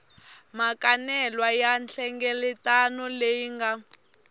makanelwa ya nhlengeletano leyi nga